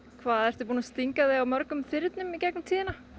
hvað ertu búin að stinga þig á mörgum þyrnum í gegnum tíðina